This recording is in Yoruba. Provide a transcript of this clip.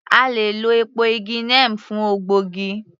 A le è lọ èpo igi neem fún ògbógi